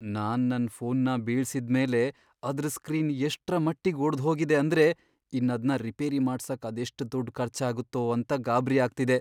ನಾನ್ ನನ್ ಫೋನ್ನ ಬೀಳ್ಸಿದ್ಮೇಲೆ ಅದ್ರ್ ಸ್ಕ್ರೀನ್ ಎಷ್ಟ್ರಮಟ್ಟಿಗ್ ಒಡ್ದ್ಹೋಗಿದೆ ಅಂದ್ರೆ ಇನ್ನದ್ನ ರಿಪೇರಿ ಮಾಡ್ಸಕ್ ಅದೆಷ್ಟ್ ದುಡ್ಡ್ ಖರ್ಚಾಗತ್ತೋ ಅಂತ ಗಾಬ್ರಿ ಆಗ್ತಿದೆ.